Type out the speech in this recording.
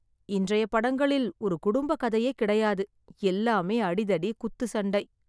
இன்றைய படங்களில் ஒரு குடும்ப கதையே கிடையாது எல்லாமே அடிதடி, குத்து சண்டை.